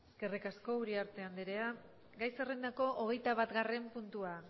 eskerrik asko uriarte anderea gai zerrendako hogeitabatgarren puntua